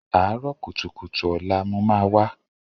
Àárọ̀ kùtùkùtù ọ̀la mo máa wá.